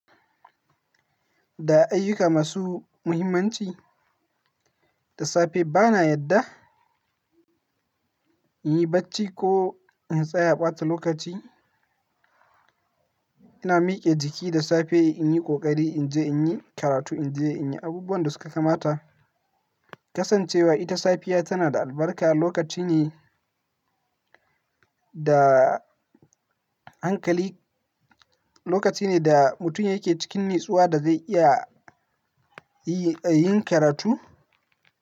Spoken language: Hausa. Da ayyuka masu muhimmanci, da safe bana yadda in yi bacci ko in tsaya ɓata lokaci. Ina mike jiki da safe in yi ƙoƙari in je in yi karatu, in je in yi abubuwan da suka kamata. Kasancewa ita safiya tana da albarka, lokaci ne da hankali, lokaci ne da mutum yake cikin natsuwa da zai iya yi, yin karatu.